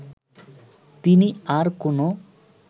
তিনি আর কোনো